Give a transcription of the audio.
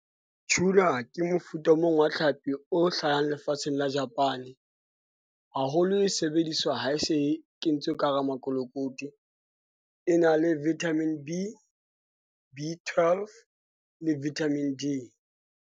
Tuna ke mofuta o mong wa tlhapi o hlahang lefatsheng la Japan-e. Haholo e sebediswa ha e se kentswe ka hara makolokoti. E na le Vitamin B, B12 le Vitamin D.